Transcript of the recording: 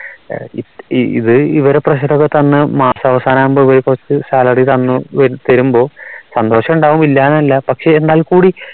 ഇത് ഇവരെ pressure ഒക്കെ തന്ന മാസാവസാനം ആവുമ്പോ ഇവരെ കുറച്ച് salary തന്ന് തരുമ്പോ സന്തോഷം ഉണ്ടാവും ഇല്ല എന്നല്ല പക്ഷേ എന്നാൽ കൂടി